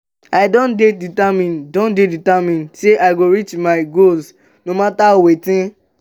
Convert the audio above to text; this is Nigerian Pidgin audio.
i don dey determined don dey determined sey i go reach my goals no mata wetin.